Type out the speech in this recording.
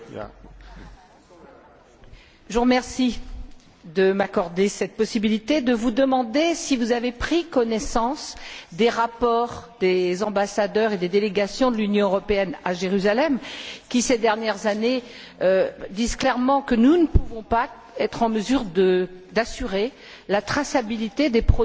Je vous remercie de m'accorder cette possibilité de vous demander si vous avez pris connaissance des rapports des ambassadeurs et des délégations de l'Union européenne à Jérusalem qui, ces dernières années, disent clairement que nous ne pouvons pas être en mesure d'assurer la traçabilité des produits qui viennent d'Israël et donc